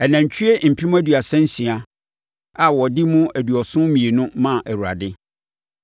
Anantwie mpem aduasa nsia (36,000) a wɔde mu aduɔson mmienu (72) maa Awurade;